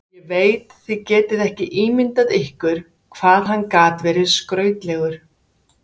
Ég veit þið getið ekki ímyndað ykkur hvað hann gat verið skrautlegur.